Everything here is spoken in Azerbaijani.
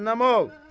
Cəhənnəm ol!